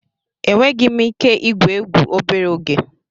Enweghị m ike igwu egwu obere oge.